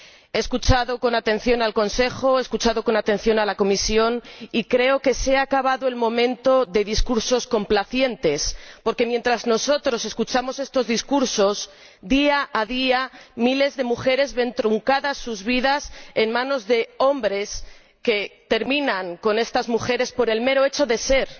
He escuchado con atención al Consejo, he escuchado con atención a la Comisión y creo que se ha acabado el momento de discursos complacientes, porque mientras nosotros escuchamos estos discursos, día a día miles de mujeres ven truncadas sus vidas a manos de hombres que acaban con ellas por el mero hecho de ser